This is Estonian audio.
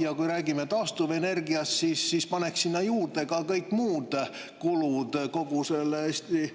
Ja kui räägime taastuvenergiast, siis paneks sinna juurde ka kõik muud kulud: kogu selle Eesti